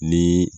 Ni